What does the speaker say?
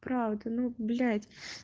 правда ну блять